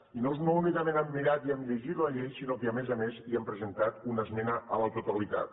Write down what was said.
i no únicament hem mirat i hem llegit la llei sinó que a més a més hi hem presentat una esmena a la totalitat